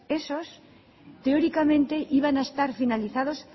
esos teóricamente iba a estar finalizados